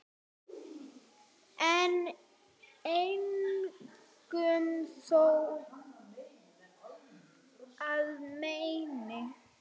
en engum þó að meini